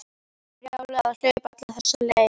Brjálæði að hlaupa alla þessa leið.